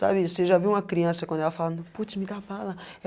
Sabe, você já viu uma criança quando ela fala não, putz, me dá bala.